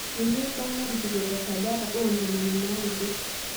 ninye edaa narikito te sajata ntomoni naudo